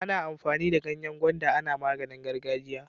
Ana amfani da ganyen gwanda ana maganin gargajiya